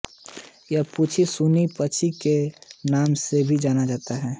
यह पंछी शूनी पंछी के नाम से भी जाना जाता है